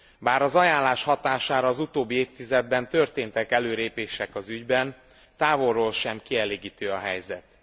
Bár az ajánlás hatására az utóbbi évtizedben történtek előrelépések az ügyben, távolról sem kielégítő a helyzet.